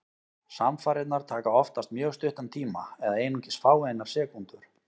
Samfarirnar taka oftast mjög stuttan tíma, eða einungis fáeinar sekúndur.